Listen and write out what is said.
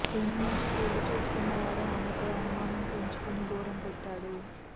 ప్రేమించి పెళ్లి చేసుకున్న వాడే ఆమెపై అనుమానం పెంచుకుని దూరం పెట్టాడు